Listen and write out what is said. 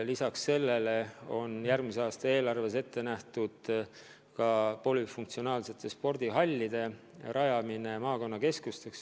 Lisaks sellele on järgmise aasta eelarves ette nähtud ka polüfunktsionaalsete spordihallide rajamine maakonnakeskustesse.